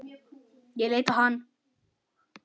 Ég leit á hann.